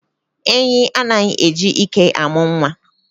Enyi anaghị e ji ike amụ nwa.